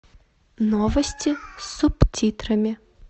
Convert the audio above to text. новости с субтитрами